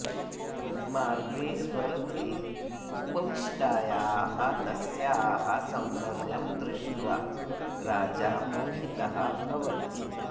मार्गे स्वरथे उपविष्टायाः तस्याः सौन्दर्यं दृष्ट्वा राजा मोहितः भवति